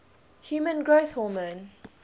human growth hormone